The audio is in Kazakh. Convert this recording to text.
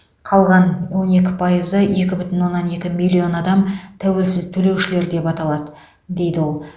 қалған он екі пайызы екі бүтін оннан екі миллион адам тәуелсіз төлеушілер деп аталады дейді ол